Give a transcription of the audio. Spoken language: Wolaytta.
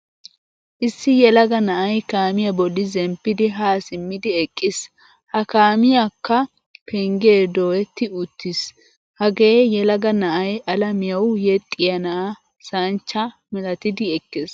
Issi yelaga na'ay kaamiyaa bolli zemppid ha simmidi eqqiis. Ha kaamiyaakka pengge dooyetti uttiis. Hagee yelaga na'ay alamiyawu yexiya na'aa sanchcha milattidi ekkees.